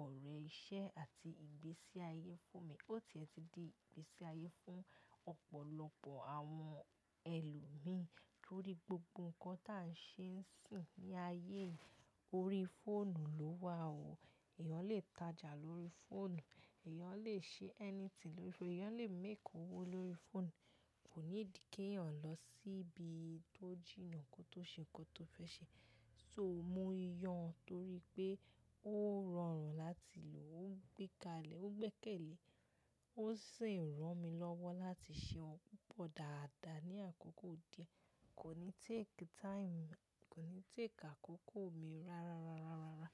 ọ̀rẹ́ iṣẹ́ àti ìgbésí ayé fún mi. Ó ti ẹ ti di ìgbésí ayé fún ọ̀pọ̀lọpọ̀ àwọn ẹlòmíí torí gbogbo nǹkan ta n ṣe ń sìn ní ayé yìí ori fóònù ló wà o. Èèyàn lè tajà lórí fóònù, ẹ̀yàn lè ṣe anything lórí fóònù, ẹ̀yàn lè make owó lórí fóònù. Kò need kí èèyàn lọ síbi tó jìnnà kó tó ṣe nǹkan tó fẹ́ ṣe. So mò ń yàn án torí pé ó rọrùn láti lò ó, ó gbẹ́kalẹ̀, ó gbẹ́kẹ̀lé, ó sì ń ràn mí lọ́wọ́ láti ṣe oun pupọ̀ dáadáa ní àkókò díẹ̀. Kò ní take time, kò ní take àkókò mi rárárárárárá.